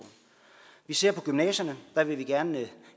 vi ser på gymnasierne der vil vi gerne